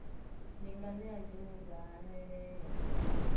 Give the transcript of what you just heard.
ndi nganea dzine dza hanelelwa